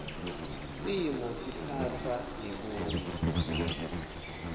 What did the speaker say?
simo siphatfwa ngekuya